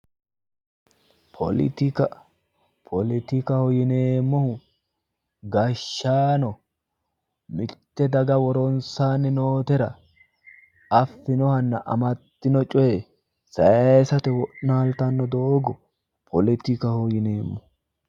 Poletika poletikaho yineemohu gashshaano mitte daga woronsaanni nootera affinohanna amaddino coyee sayiisate wo'naaltanno doogo poletikaho yineemmo